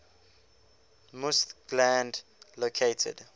musth gland located